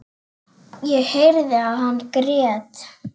Ég heyrði að hann grét.